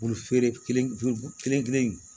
feere kelen kelen kelen